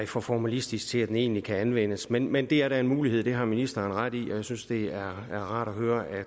for formalistisk til at den egentlig kan anvendes men men det er da en mulighed det har ministeren ret i jeg synes det er rart at høre